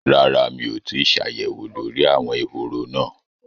Rárá mi ò tíì ṣàyẹ̀wò lórí àwọn ehoro náà